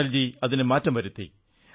അടൽജി അതിനു മാറ്റം വരുത്തി